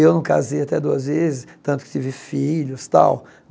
Eu não casei até duas vezes, tanto que tive filhos, tal.